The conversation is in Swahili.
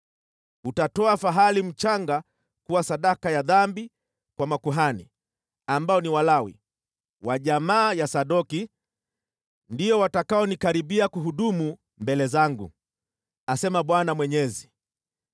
Utatoa fahali mchanga kuwa sadaka ya dhambi kwa makuhani, ambao ni Walawi, wa jamaa ya Sadoki, ndio watakaonikaribia kuhudumu mbele zangu, asema Bwana Mwenyezi.